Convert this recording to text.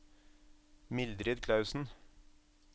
Mildrid Clausen